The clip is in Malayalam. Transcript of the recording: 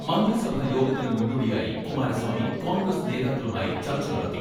മന്ത്രി സഭാ യോഗത്തിന് മുന്നോടിയായി കുമാരസ്വാമി കോൺഗ്രസ് നേതാക്കളുമായി ചർച്ച നടത്തി.